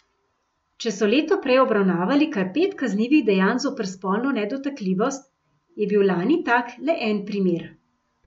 Če so leto prej obravnavali kar pet kaznivih dejanj zoper spolno nedotakljivost, je bil lani tak le en primer.